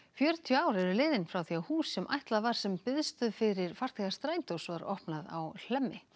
fjörutíu ár eru frá því að hús sem ætlað var sem biðstöð fyrir farþega strætós var opnað á Hlemmi